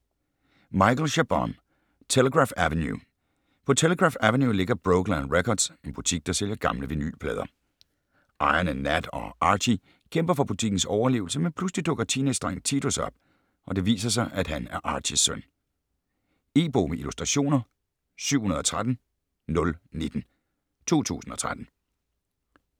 Chabon, Michael: Telegraph Avenue På Telegraph Avenue ligger Brokeland Records - en butik, der sælger gamle vinylplader. Ejerne Nat og Archy kæmper for butikkens overlevelse, men pludselig dukker teenagedrengen Titus op, og det viser sig, at han er Archys søn. E-bog med illustrationer 713019 2013.